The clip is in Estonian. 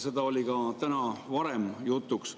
See oli ka täna varem jutuks.